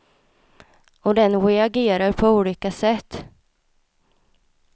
Och den reagerar på olika sätt.